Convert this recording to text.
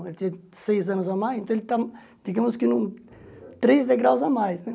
Ele tinha seis anos a mais, então ele está, digamos que, em três degraus a mais, né?